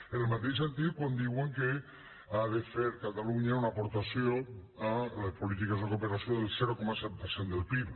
en el mateix sentit quan diuen que ha de fer catalunya una aportació a les polítiques de cooperació del zero coma set per cent del pib